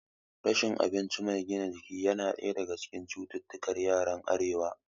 Rashin abinci mai gina jiki yana ɗaya daga cikin cututtukar yaran arewa